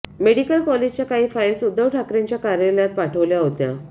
medical कॉलेजच्या काही file Uddhav ठाकरेंच्या कार्यालयात पाठवल्या होत्या